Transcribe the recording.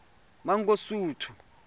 mangosuthu